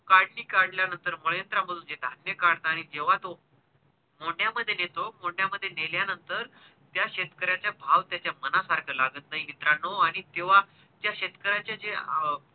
काढणी काढल्या नंतर ते काढतांनी जेव्हा तो मोंढ्या मध्ये नेतो मोंढ्या मध्ये नेल्या नंतर त्या शेतकऱ्याचा भाव त्याच्या मनासारखा लागत नाही मित्रांनो आणि तेव्हा ते शेतकऱ्याचा जे अं